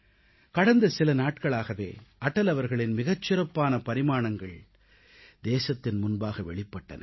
கடந்த சில நாட்களாகவே அடல் அவர்களின் மிகச் சிறப்பான பரிமாணங்கள் தேசத்தின் முன்பாக வெளிப்பட்டன